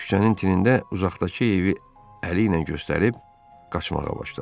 Bir küçənin tinində uzaqdakı evi əli ilə göstərib qaçmağa başladı.